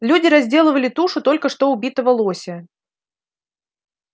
люди разделывали тушу только что убитого лося